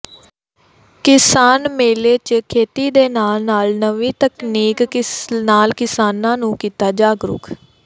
ਕਿਸਾਨ ਮੇਲੇ ਚ ਖੇਤੀ ਦੇ ਨਾਲ ਨਾਲ ਨਵੀ ਤਕਨੀਕ ਨਾਲ ਕਿਸਾਨਾਂ ਨੂੰ ਕੀਤਾ ਜਾਗਰੂਕ